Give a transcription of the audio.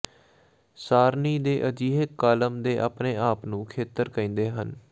ਸਾਰਣੀ ਦੇ ਅਜਿਹੇ ਕਾਲਮ ਦੇ ਆਪਣੇ ਆਪ ਨੂੰ ਖੇਤਰ ਕਹਿੰਦੇ ਹਨ